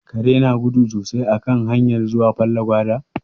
Kare na gudu sosai a kan hanyar zuwa Fallagwada.